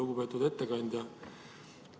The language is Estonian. Lugupeetud ettekandja!